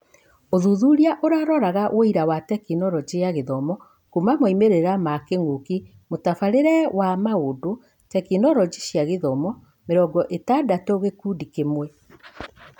ũthuthuria ũraroraga : ũira wa Tekinoronjĩ ya Gĩthomo kuuma moimĩrĩra ma kĩng'ũki : mũtabarĩre wa maũndũ, Tekinoronjĩ cia Gĩthomo mĩrongo-ĩtandatũ gĩkundi kĩmwe